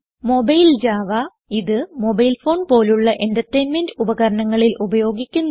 Mobile Java ഇത് mobile phone പോലുള്ള entertainment ഉപകരണങ്ങളിൽ ഉപയോഗിക്കുന്നു